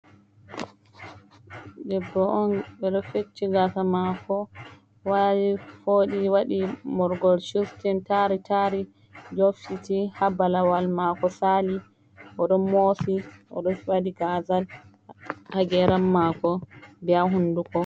Debbo on ɓe ɗo fecchi gaasa maako waali fooɗi waɗi morgol chuftin taari taari yoftiti ha balawal maako saali, oɗon moosi oɗo waɗi gaazal ha geeram maako be ha hunduko.